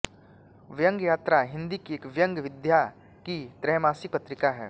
व्यंग्य यात्रा हिन्दी की एक व्यंग्य विधा की त्रैमासिक पत्रिका है